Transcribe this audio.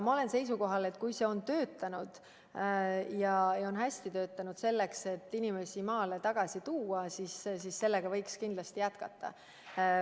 Ma olen seisukohal, et kui see meede on hästi töötanud, selleks et inimesi maale tagasi tuua, siis seda võiks kindlasti jätkata.